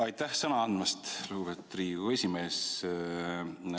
Aitäh sõna andmast, lugupeetud Riigikogu esimees!